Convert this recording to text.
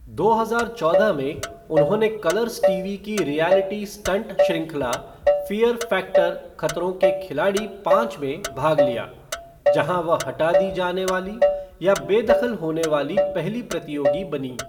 दो हजार चौदह में, उन्होंने कलर्स टीवी की रियैलिटी स्टंट श्रृंखला फ़ियर फ़ैक्टर खतरों के खिलाड़ी पाँच में भाग लिया, जहाँ वह हटा दी जाने वाली या बेदखल होने वाली पहली प्रतियोगी बनीं।